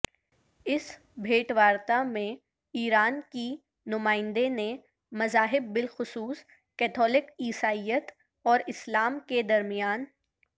اس بھےٹوارتا میں ایران کی نمائندے نے مذاہب بالخصوص کیتھولک عیسائیت اور اسلام کے درمیان